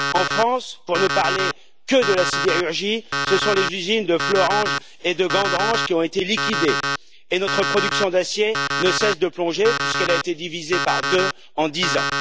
En France, pour ne parler que de la sidérurgie, ce sont les usines de Florange et de Gandrange qui ont été liquidées et notre production d'acier ne cesse de plonger, puisqu'elle a été divisée par deux en dix ans.